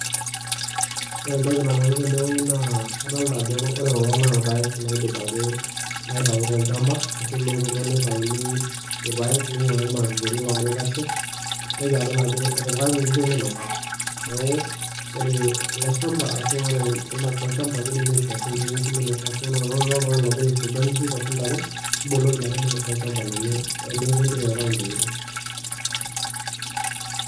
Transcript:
Ore entoki nalotu tenewoji naa adolita ajo ore kulo naa ilpayek oidipaki aitayu tol'chamba arashu ilowoto nitayuni ilpayek ninkuari ilmapepeyini logira aitashe, naitoki adol ajo etipikaki inkishu minosa. Neeku ore ele shamba ashu ore products olchamba kidimi aishoo sininje inkishu minosa ashu ore nai oltun'gani ogira ai fuga inkishu ashu intare, niboloki minosa olchamba lino teneeku indipa aitayu intokitin.